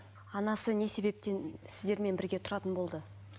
анасы не себептен сіздермен бірге тұратын болды